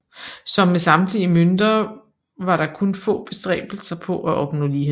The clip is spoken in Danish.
Som med samtidige mønter var der kun få bestræbelser på at opnå lighed